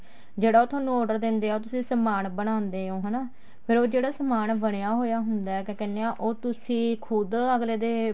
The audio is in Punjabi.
ਜਿਹੜਾ ਉਹ ਤੁਹਾਨੂੰ order ਦਿੰਦੇ ਆ ਉਹ ਤੁਸੀਂ ਸਮਾਨ ਬਣਾਉਂਦੇ ਓ ਹਨਾ ਫ਼ੇਰ ਉਹ ਜਿਹੜਾ ਸਮਾਨ ਬਣਿਆ ਹੋਇਆ ਹੁੰਦਾ ਕਿਆ ਕਹਿਨੇ ਆ ਉਹ ਤੁਸੀਂ ਅੱਗਲੇ ਦੇ